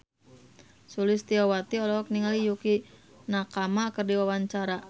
Sulistyowati olohok ningali Yukie Nakama keur diwawancara